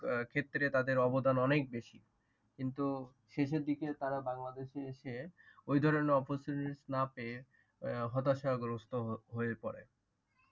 ক্ষেত্রে তাদের অবদান অনেক বেশি, কিন্তু শেষের দিকে তারা বাংলাদেশে এসে ওই ধরণের opportunity না পেয়ে হতাশাগ্রস্ত হয়ে পরে।